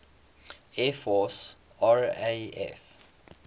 air force raaf